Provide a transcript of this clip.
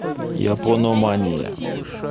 япономания